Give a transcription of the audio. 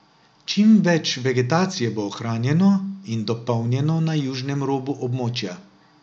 Čimveč vegetacije bo ohranjeno in dopolnjeno na južnem robu območja.